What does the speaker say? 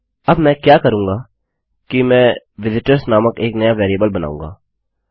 अब मैं क्या करूँगा कि मैं विजिटर्स नामक एक नया वेरिएबल बनाऊँगा